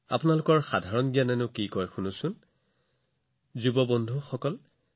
আপোনালোকৰ সাধাৰণ জ্ঞানে কি কয় চাওঁ আহক আপোনালোকৰ ওচৰত কিমান তথ্য আছে